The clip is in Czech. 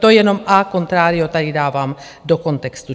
To jenom a contrario tady dávám do kontextu.